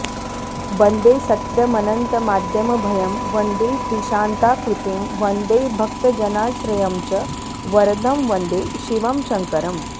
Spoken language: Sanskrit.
बन्दे सत्यमनन्तमाद्यमभयं वन्देऽतिशान्ताकृतिं वन्दे भक्तजनाश्रयं च वरदं वन्दे शिवं शङ्करम्